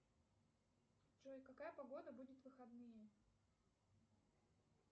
джой какая погода будет в выходные